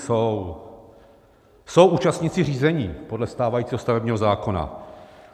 Jsou účastníci řízení podle stávajícího stavebního zákona.